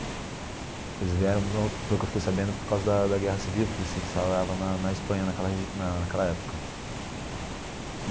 Eles vieram no, pelo que eu fiquei sabendo, por causa da da Guerra Civil, que se instalava na na Espanha naquela regi na naquela época.